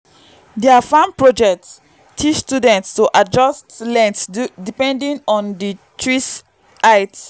dia fam project teach students to adjust length depending on di tree height